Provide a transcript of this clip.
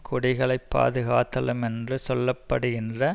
குடிகளை பாதுகாத்தலுமென்று சொல்ல படுகின்ற